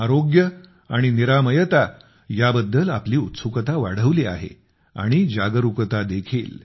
आरोग्य आणि निरामयता वेलनेस याबद्दल आपली उत्सुकता वाढली आहे आणि जागरूकता देखील